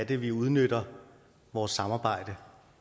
vi udnytter vores samarbejde